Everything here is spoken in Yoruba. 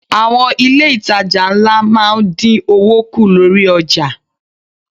Àwọn ilé itàjà ńlá máa ń dín owó kù lórí ọjà.